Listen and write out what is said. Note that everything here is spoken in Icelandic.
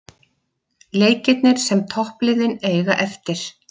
Leikirnir sem toppliðin eiga eftir